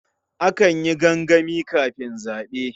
Akan yi gangami kafin zaɓe.